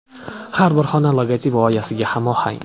Har bir xona logotip g‘oyasiga hamohang!